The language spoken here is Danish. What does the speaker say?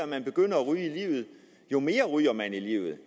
man begynder at ryge jo mere ryger man livet